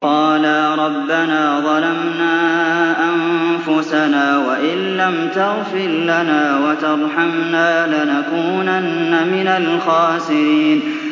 قَالَا رَبَّنَا ظَلَمْنَا أَنفُسَنَا وَإِن لَّمْ تَغْفِرْ لَنَا وَتَرْحَمْنَا لَنَكُونَنَّ مِنَ الْخَاسِرِينَ